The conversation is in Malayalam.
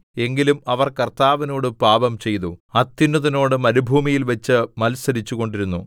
എങ്കിലും അവർ കർത്താവിനോട് പാപംചെയ്തു അത്യുന്നതനോട് മരുഭൂമിയിൽവച്ച് മത്സരിച്ചുകൊണ്ടിരുന്നു